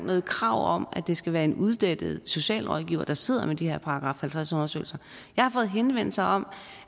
noget krav om at det skal være en uddannet socialrådgiver der sidder med de her § halvtreds undersøgelser jeg har fået henvendelser om